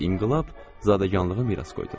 İnqilab zadəganlığı miras qoydu.